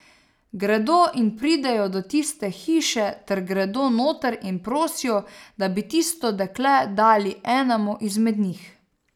Gredo in pridejo do tiste hiše ter gredo noter in prosijo, da bi tisto dekle dali enemu izmed njih.